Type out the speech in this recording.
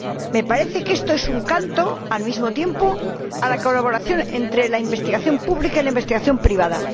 Me parece que esto es un canto, al mismo tiempo, a la colaboración entre la investigación pública y la investigación privada.